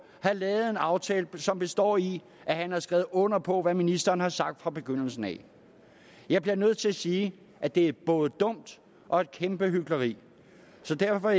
har lavet en aftale som består i at han har skrevet under på hvad ministeren har sagt fra begyndelsen af jeg bliver nødt til at sige at det er både dumt og et kæmpe hykleri så derfor